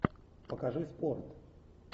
покажи спорт